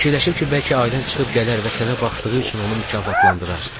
Fikirləşib ki, bəlkə ailən çıxıb gələr və sənə baxdığı üçün onu mükafatlandıra.